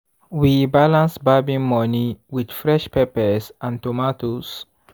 we balance barbing money with fresh peppers and tomatoes.